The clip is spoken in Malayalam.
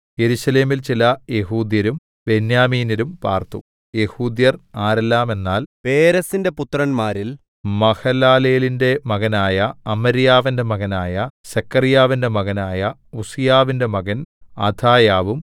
യെരൂശലേമിൽ ചില യെഹൂദ്യരും ബെന്യാമീന്യരും പാർത്തു യെഹൂദ്യർ ആരെല്ലാമെന്നാൽ പേരെസിന്റെ പുത്രന്മാരിൽ മഹലലേലിന്റെ മകനായ അമര്യാവിന്റെ മകനായ സെഖര്യാവിന്റെ മകനായ ഉസ്സീയാവിന്റെ മകൻ അഥായാവും